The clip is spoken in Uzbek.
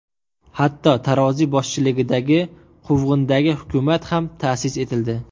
Hatto Taroziy boshchiligida quvg‘indagi hukumat ham ta’sis etildi.